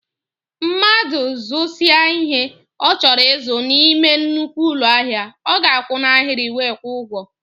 Mmadụ zusia ihe ọ chọrọ ịzụ n'ime nnukwu ụlọ ahịa, ọ ga akwụ na ahiri wee kwụọ ụgwọ